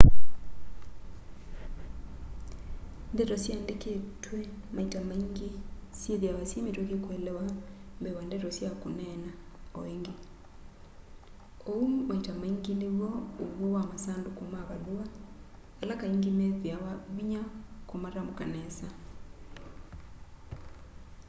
ndeto siandikitwe maita maingi syithiawa syi mituki kuelewa mbee wa ndeto sya kuneena o ingi uu maita maingi niw'o uw'o wa masanduku ma valua ala kaingi methiawa vinya kumatamuka nesa